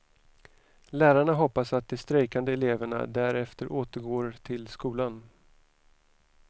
Lärarna hoppas att de strejkande eleverna därefter återgår till skolan.